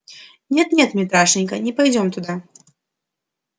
нет нет митрашенька не пойдём туда